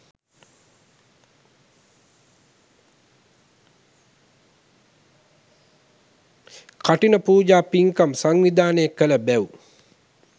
කඨින පූජා පින්කම් සංවිධානය කළ බැව්